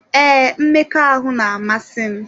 Ee, mmekọahụ na-amasị m.